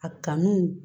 A kanu